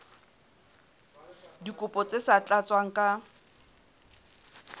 dikopo tse sa tlatswang ka